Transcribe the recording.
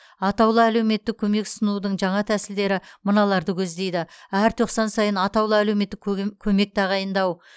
атаулы әлеуметтік көмек ұсынудың жаңа тәсілдері мыналарды көздейді әр тоқсан сайын атаулы әлеуметтік көгем көмек тағайындау